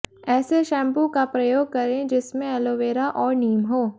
ऐसे शैंपू का प्रयोग करें जिसमें एलोवेरा और नीम हो